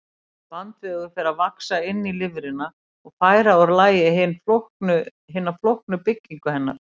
Bandvefur fer að vaxa inn í lifrina og færa úr lagi hina flóknu byggingu hennar.